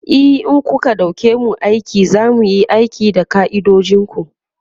e in kuka ɗauke mu aiki zamuyi aiki da ka'idojinku